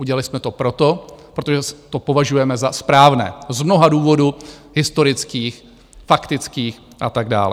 Udělali jsme to proto, protože to považujeme za správné z mnoha důvodů historických, faktických a tak dále.